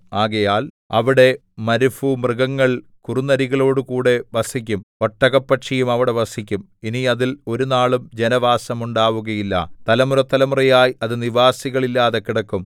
ആകയാൽ അവിടെ മരുഭൂമൃഗങ്ങൾ കുറുനരികളോടുകൂടെ വസിക്കും ഒട്ടകപ്പക്ഷിയും അവിടെ വസിക്കും ഇനി അതിൽ ഒരുനാളും ജനവാസമുണ്ടാവുകയില്ല തലമുറതലമുറയായി അത് നിവാസികൾ ഇല്ലാതെ കിടക്കും